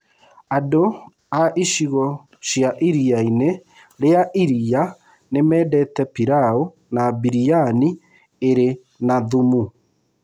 Andũ a icigo cia Iria-inĩ rĩa Iria nĩ mendete pilau na biryani ĩrĩ na thumu.